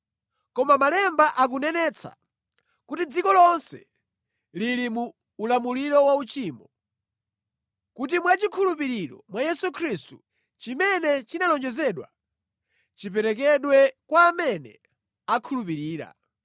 Koma Malemba akunenetsa kuti dziko lonse lili mu ulamuliro wauchimo, kuti mwachikhulupiriro mwa Yesu Khristu, chimene chinalonjezedwa chiperekedwe kwa amene akhulupirira.